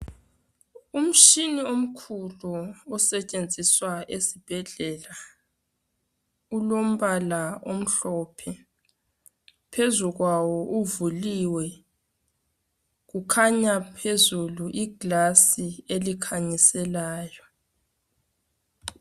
Umtshini omkhulu osetshenziswa esibhedlela ulombala omhlophe phezu kwawo uvuliwe kukhanya phezulu igilasi elikhanyiselayo.